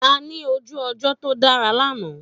A ní ojú ọjọ́ tó dára lánàá.